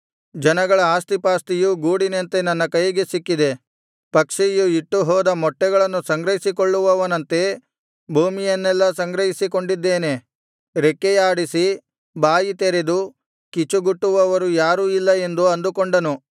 ಜನಗಳ ಆಸ್ತಿಪಾಸ್ತಿಯು ಗೂಡಿನಂತೆ ನನ್ನ ಕೈಗೆ ಸಿಕ್ಕಿದೆ ಪಕ್ಷಿಯು ಇಟ್ಟುಹೋದ ಮೊಟ್ಟೆಗಳನ್ನು ಸಂಗ್ರಹಿಸಿಕೊಳ್ಳುವವನಂತೆ ಭೂಮಿಯನ್ನೆಲ್ಲಾ ಸಂಗ್ರಹಿಸಿಕೊಂಡಿದ್ದೇನೆ ರೆಕ್ಕೆಯಾಡಿಸಿ ಬಾಯಿ ತೆರೆದು ಕಿಚುಗುಟ್ಟುವವರು ಯಾರೂ ಇಲ್ಲ ಎಂದು ಅಂದುಕೊಂಡನು